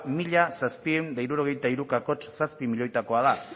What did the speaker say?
mila zazpiehun eta hirurogeita hiru koma zazpi milioitakoa da